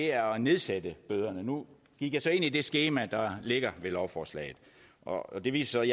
er at nedsætte bøderne nu gik jeg så ind i det skema der ligger ved lovforslaget og det viser